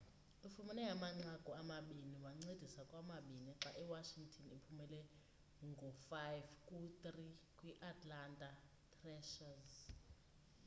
ufumene amanqaku amabini wancedisa kwamabini xa i washington iphumelele ngo-5-3 kwi-atlanta thrashers